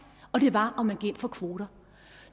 og det var om man gik ind for kvoter